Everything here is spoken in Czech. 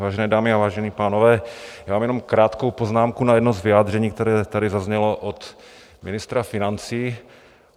Vážené dámy, vážení pánové, já mám jenom krátkou poznámku na jedno z vyjádření, které tady zaznělo od ministra financí.